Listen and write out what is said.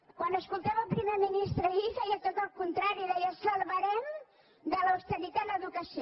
quan escoltava el primer ministre ahir feia tot el contrari deia salvarem de l’austeritat l’educació